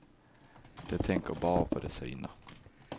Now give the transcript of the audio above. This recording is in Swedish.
De tänker bara på de sina.